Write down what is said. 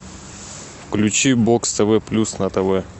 включи бокс тв плюс на тв